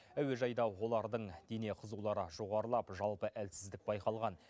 әуежайда олардың дене қызулары жоғарылап жалпы әлсіздік байқалған